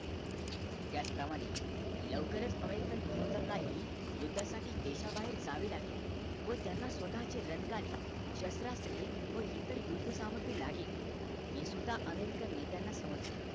त्याच प्रमाणे लवकरच american फौजानंहि युद्धासाठी देश बाहेर जावे लागेल व त्यांना स्वतःचे रणगाडे शास्राश्रे व इतर युद्ध सामग्री लागेल हे सुद्धा american नेत्यांना समजले